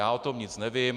Já o tom nic nevím.